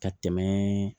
Ka tɛmɛ